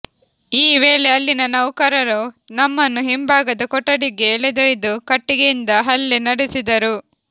ಈ ವೇಳೆ ಅಲ್ಲಿನ ನೌಕರರು ನಮ್ಮನ್ನು ಹಿಂಭಾಗದ ಕೊಠಡಿಗೆ ಎಳೆದೊಯ್ದು ಕಟ್ಟಿಗೆಯಿಂದ ಹಲ್ಲೆ ನಡೆಸಿದರು